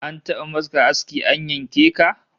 An taba maka aski an yanke ka?